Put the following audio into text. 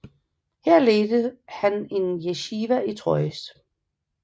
Her ledte han en jeshiva i Troyes